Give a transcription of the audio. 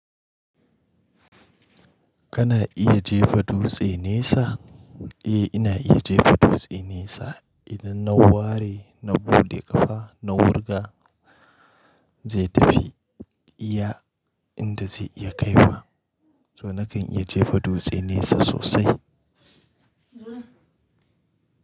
Kana iya jefa dutse nesa? Eh, ina iya jefa dutse nesa idan na ware, na buɗe ƙafa, na wurga zai tafi iya inda zai iya kaiwa. Toh nakan iya jefa dutse nesa sosai. Zuri'a.